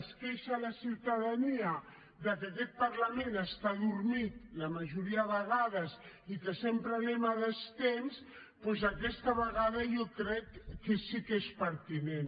es queixa la ciutadania que aquest parlament està adormit la majoria de vegades i que sempre anem a destemps doncs aquesta vegada jo crec que sí que és pertinent